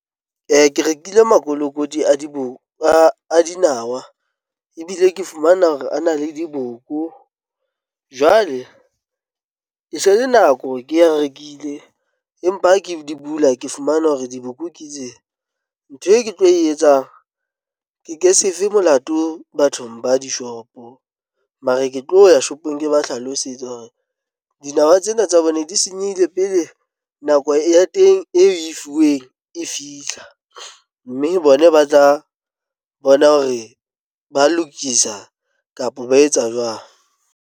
Ke rekile makolokoti a diboko a dinawa ebile ke fumana hore a na le diboko jwale e se le nako hore ke rekile, empa ha ke di bula, ke fumana hore diboko nkitse ntho e ke tlo e etsang. Ke ke sefe molato bathong ba dishopo mare ke tlo ya shopong. Ke ba hlalosetse hore dinawa tsena tsa hobane di senyehile pele nako ya teng e fuweng e fihla, mme bona ba tla bona hore ba lokisa kapa ba etsa jwang.